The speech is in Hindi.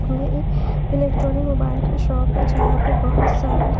ये एक इलेक्ट्रॉनिक मोबाइल का शॉप है यहां पे बहुत सारी--